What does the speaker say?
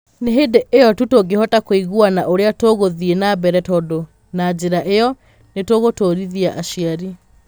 Nĩ hĩndĩ ĩyo tu tũngĩhota kũiguana ũrĩa tũgũthiĩ na mbere tondũ na njĩra ĩyo, nĩ tũgũtuurithia aciari.